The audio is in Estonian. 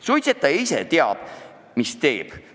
Suitsetaja ise teab, mis teeb.